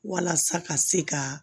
Walasa ka se ka